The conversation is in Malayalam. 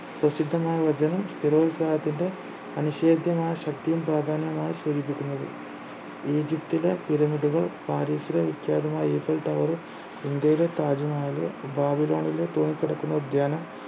പ്രസിദ്ധമായ നിർവചനം സ്ഥിരോൽസാഹത്തിന്റെ അനിഷേധ്യമായ ശക്തിയും പ്രാധാന്യവുമാണ് സൂചിപ്പിക്കുന്നത് ഈജിപ്തിലെ pyramid കൾ പാരീസിലെ വിഖ്യാതമായ ഈഫൽ tower ഇന്ത്യയിലെ താജ്മഹൽ ബാബിലോണിലെ തൂങ്ങിക്കിടക്കുന്ന ഉദ്യാനം